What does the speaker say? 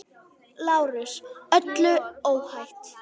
LÁRUS: Öllu óhætt!